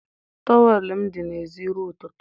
Towel m dị n'èzí ruo ụtụtụ.